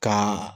Ka